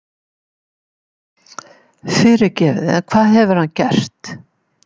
Fyrirgefiði en hvað hefur hann gert?